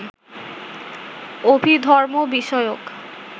অভিধর্ম বিষয়ক